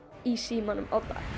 í símanum á dag